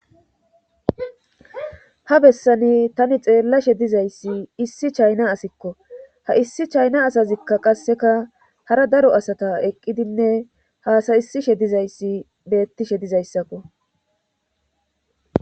ha bessani tani xeellashe dizayssi issi chayna asikko ha issi chayna asazikka qasseka hara daro asata eqqidinne haasayisishe dizayssi beettishe dizayssakko